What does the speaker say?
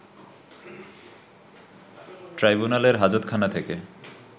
ট্রাইব্যুনালের হাজতখানা থেকে